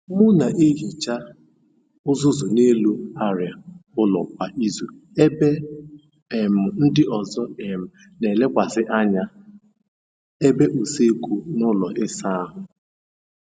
M n'ehicha uzuzu n’elu arịa ụlọ kwa izu ebe um ndị ọzọ um n'elekwasị anya ebe usekwu na ụlọ ịsa ahụ